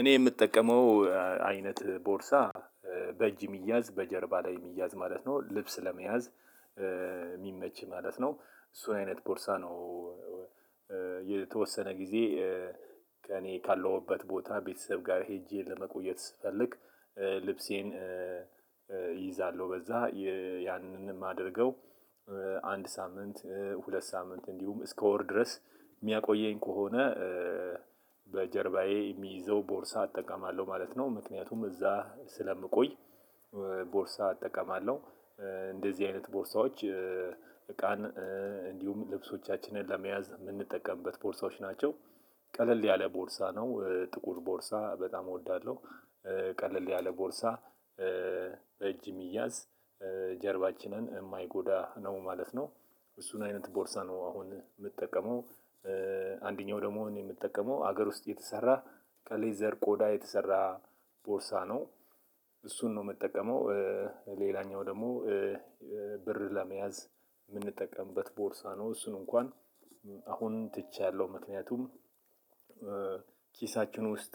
እኔ የምጠቀመው አይነት ቦርሳ በእጅ የሚያዝ በጀርባ ላይ የሚያዝ ማለት ነው ልብስ ለመያዝ የሚመች ማለት ነው እሱን አይነት ቦርሳ ነው። የተወሰነ ጊዜ ከእኔ ካለሁበት ቦታ ቤተሰብ ጋር ሄጄ ለመቆየት ስፈልግ ልብሴን እይዛለሁ። በዛ ያንንም የማደርገው አንድ ሳምንት ሁለት ሳምንት እንዲሁም እስከ ወር ድረስ የሚያቆየኝ ከሆነ በጀርባዬ የሚይዘው ቦርሳ እጠቀማለሁ ማለት ነው። ምክንያቱም እዛ ስለምቆይ ቦርሳ አጠቀማለሁ። እንደዚህ አይነት ቦርሳዎች እቃን እንዲሁም ልብሶቻችንን ለመያዝ የምንጠቀምበት ቦርሳዎች ናቸው። ቀለል ያለ ቦርሳ ነው ጥቁር ቦርሳ በጣም እወዳለሁ። ቀለል ያለ ቦርሳ በእጅ የሚያዝ ጀርባችንን የማይጎዳ ነው ማለት ነው። እሱን አይነት ቦርሳ ነው አሁን የምጠቀመው። አንደኛው ደግሞ የምጠቀመው ሀገር ውስጥ የተሰራ ከሌዘር ቆዳ የተሰራ ቦርሳ ነው። እሱን ነው የምጠቀመው። ሌላኛው ደግሞ ብር ለመያዝ የምንጠቀምበት ቦርሳ ነው። እሱን እንኳን አሁን ትቻለሁ። ምክንያቱም ኪሳችን ውስጥ